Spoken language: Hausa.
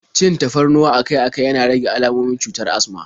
Cin tafarnuwa akai-akai yana rage almomin cutar asma